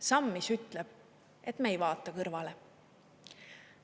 Samm, mis ütleb, et me ei vaata kõrvale.